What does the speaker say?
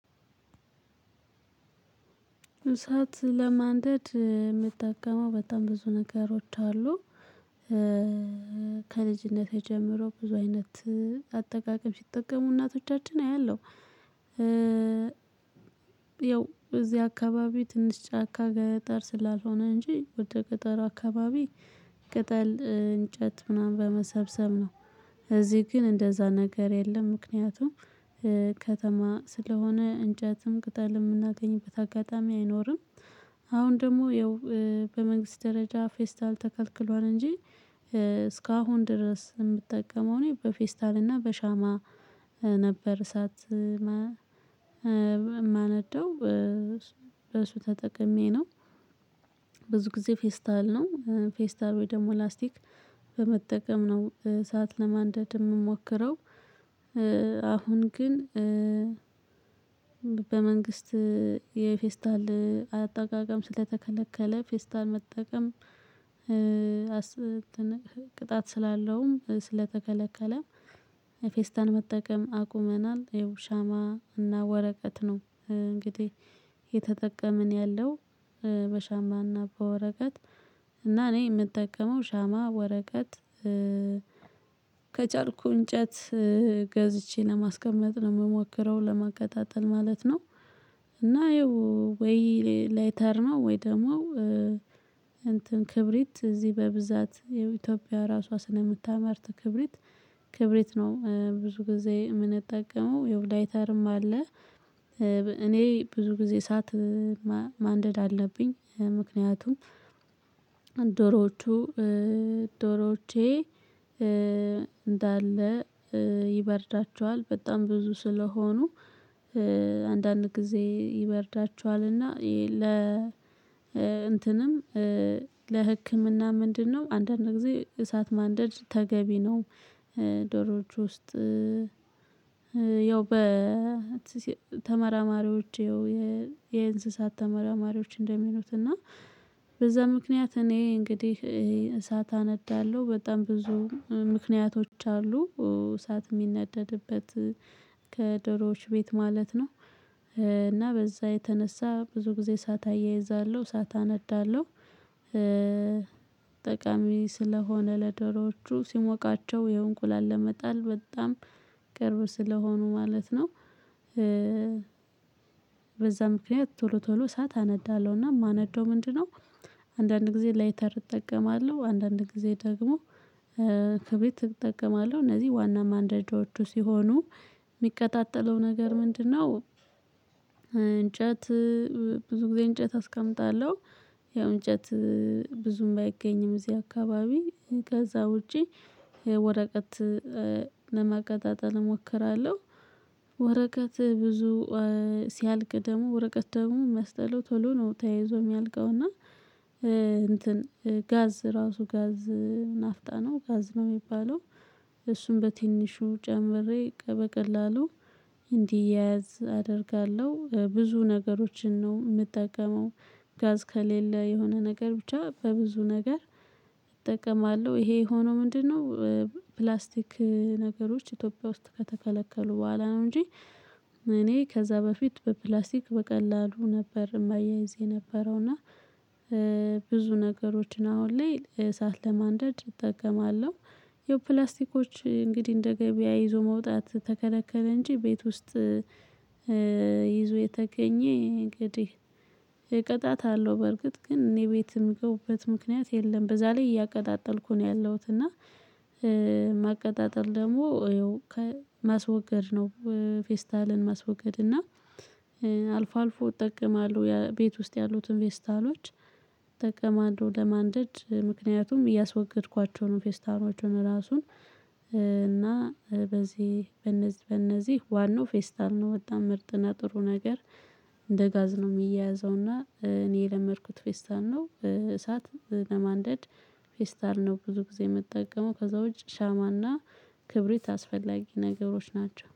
እሳት ለማንደድ የምጠቀመው በጣም ብዙ ነገሮች አሉ። ከልጅነቴ ጀምሮ ብዙ አይነት አጠቃቀም ሲጠቀሙ እናቶቻችን አያለሁ። ያው እዚህ አካባቢው ትንሽ ጫካ ገጠር ስላልሆነ እንጂ ወደ ገጠር አካባቢ ቅጠል እንጨት ምናምን በመሰብሰብ ነው። እዚህ ግን እንደዛ ነገር የለም። ምክንያቱም ከተማ ስለሆነ እንጨትም ቅጠል የምናገኝበት አጋጣሚ አይኖርም። አሁን ደግሞ ይኸው በመንግስት ደረጃ ፌስታል ተከልክሏል እንጂ እስካሁን ድረስ የምጠቀመው እኔ በፌስታል እና በሻማ ነበር እሳት የማነደው። በሱ ተጠቅሜ ነው። ብዙ ጊዜ ፌስታል ነው ፌስታል ወይ ደግሞ ላስቲክ በመጠቀም ነው ሰዓት ለማንደድ የምሞክረው። አሁን ግን በመንግስት የፌስታል አጠቃቀም ስለተከለከለ ፌስታል መጠቀም ቅጣት ስላለውም ስለተከለከለም ፌስታል መጠቀም አቁመናል ይኸው ሻማ እና ወረቀት ነው እንግዲህ የተጠቀምን ያለው። በሻማና በወረቀት እና እኔ የምጠቀመው ሻማ ወረቀት ከቻልሁ እንጨት ገዝቼ ለማስቀመጥ ነው የምሞክረው ለማቀጣጠል ማለት ነው። እና ያው ወይ ላይተር ነው ወይ ደግሞ እንትን ክብሪት እዚህ በብዛት የኢትዮጵያ ራሷ ስለምታመርት ክብሪት ክብሪት ነው ብዙ ጊዜ የምንጠቀመው የው ላይተርም አለ። እኔ ብዙ ጊዜ እሳት ማንደድ አለብኝ። ምክንያቱም ዶሮዎቼ እንዳለ ይበርዳቸዋል በጣም ብዙ ስለሆኑ አንዳንድ ጊዜ ይበርዳቸዋልና ይሄ ለ እንትንም ለህክምና ምንድነው አንዳንድ ጊዜ እሳት ማንደድ ተገቢ ነው። ዶሮዎች ውስጥ ያው በ ተመራማሪዎቼ የእንስሳት ተመራማሪዎች እንደሚሉት እና በዛ ምክንያት እኔ እንግዲህ እሳት አነዳለሁ በጣም ብዙ ምክንያቶች አሉ እሳት የሚነደድበት ከደሮዎች ቤት ማለት ነው። እና በዛ የተነሳ ብዙ ጊዜ እሳት አያይዛለሁ እሳት አነዳለሁ። ጠቃሚ ስለሆነ ለደሮቹ ሲሞቃቸው የእንቁላል ለመጣል በጣም ቅርብ ስለሆኑ ማለት ነው። በዛ ምክንያት ቶሎ ቶሎ ሰዓት አነዳለሁ እና የማነደው ምንድን ነው? አንዳንድ ጊዜ ላይተር እጠቀማለሁ አንዳንድ ጊዜ ደግሞ ከቤት እጠቀማለሁ እነዚህ ዋና ማንደጃዎቹ ሲሆኑ የሚቀጣጠለው ነገር ምንድነው እንጨት ብዙ ጊዜ እንጨት አስቀምጣለሁ። ያው እንጨት ብዙም ባይገኝም እዚህ አካባቢ ከዛ ውጪ ወረቀት ለማቀጣጠል እሞክራለሁ። ወረቀት ብዙ ሲያልቅ ደግሞ ወረቀት ደግሞ ሚያስጠላው ቶሎ ነው ተያይዞ የሚያልቀው እና። እንትን ጋዝ ራሱ ጋዝ ናፍጣ ነው ጋዝ ነው የሚባለው። እሱን በትንሹ ጨምሬ በቀላሉ እንዲያያዝ አደርጋለሁ ብዙ ነገሮችን ነው የምጠቀመው። ጋዝ ከሌለ የሆነ ነገር ብቻ በብዙ ነገር እጠቀማለሁ ይሄ ሆኖ ምንድነው? ፕላስቲክ ነገሮች ኢትዮጵያ ውስጥ ከተከለከሉ በኋላ ነው እንጂ። እኔ ከዛ በፊት በፕላስቲክ በቀላሉ ነበር የማያይዝ የነበረው እና። ብዙ ነገሮችን አሁን ላይ እሳት ለማንደድ እጠቀማለሁ። የፕላስቲኮች እንግዲህ እንደ ገበያ ይዞ መውጣት ተከለከለ እንጂ ቤት ውስጥ ይዞ የተገኘ እንግዲህ ቅጣት አለው። በርግጥ ግን እኔ ቤት የሚገቡበት ምክንያት የለም በዛ ላይ እያቀጣጠልኩ ነው ያለሁት እና። ማቀጣጠል ደግሞ ከማስወገድ ነው ፌስታልን ማስወገድ እና። አልፎ አልፎ እጠቀማለሁ ቤት ውስጥ ያሉትን ፌስታሎች። እጠቀማለሁ ለማንደድ ምክንያቱም እያስወገድኳቸው ነው ፌስታሎቹን ራሱን። እና በዚህ በነዚህ በነዚህ ዋናው ፌስታል ነው ወጣ ምርጥና ጥሩ ነገር። እንደ ጋዝ ነው የሚያያዘው እና እኔ የለመድኩት ፌስታል ነው እሳት ለማንደድ። ፌስታል ነው ብዙ ጊዜ የምጠቀመው ከዛ ውጪ ሻማና ክብሪት አስፈላጊ ነገሮች ናቸው